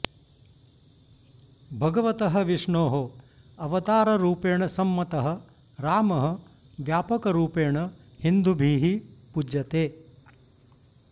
भगवतः विष्णोः अवताररूपेण सम्मतः रामः व्यापकरूपेण हिन्दुभिः पूज्यते